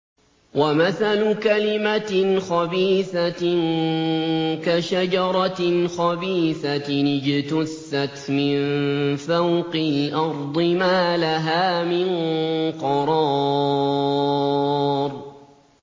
وَمَثَلُ كَلِمَةٍ خَبِيثَةٍ كَشَجَرَةٍ خَبِيثَةٍ اجْتُثَّتْ مِن فَوْقِ الْأَرْضِ مَا لَهَا مِن قَرَارٍ